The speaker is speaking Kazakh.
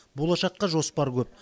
болашаққа жоспар көп